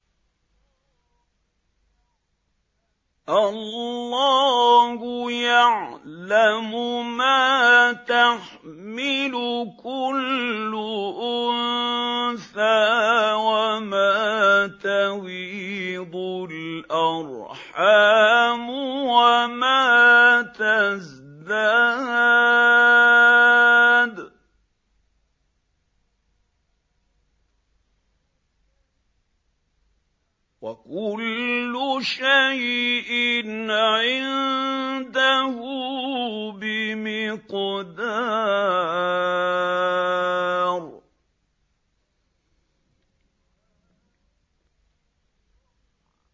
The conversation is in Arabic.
اللَّهُ يَعْلَمُ مَا تَحْمِلُ كُلُّ أُنثَىٰ وَمَا تَغِيضُ الْأَرْحَامُ وَمَا تَزْدَادُ ۖ وَكُلُّ شَيْءٍ عِندَهُ بِمِقْدَارٍ